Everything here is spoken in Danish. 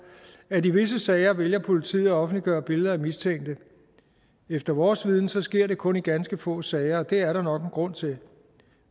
at i visse sager vælger politiet at offentliggøre billeder af mistænkte efter vores viden sker det kun i ganske få sager og det er der nok en grund til